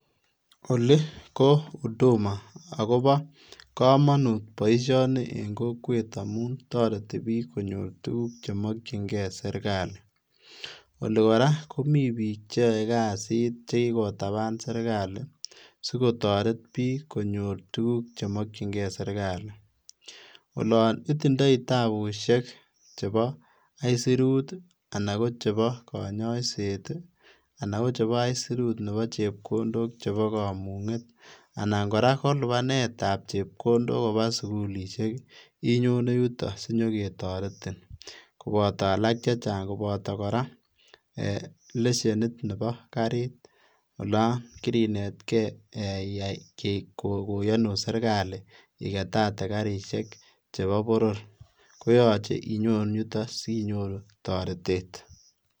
Oli ko huduma akobo kamanut boisioni eng kokwet amun toreti biik konyor tuguk chemakchinkei eng serikali. Oli kora komi biik cheyoe kasiit che kikotaban serikali sikotoret biik konyor tuguk chemakchinkei eng serikali. Olon itindoi tabushek chebo aisurut anan chebo kanyaiset anan chebo aisurut chebo chepkondok chebo kamunget anan kora ko lipanetab chepkondok koba sukulisiek inyone yuto asinye ketoretin koboto alak chechang, koboto lesenisiet nebo kariit. Olon kirinetkei iyae, koyonun serikali iketate karisiek chebo boror koyache inyon yuto sinyoru torotet.